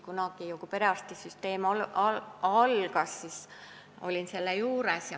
Kunagi, kui perearstisüsteem loodi, siis olin ise selle juures.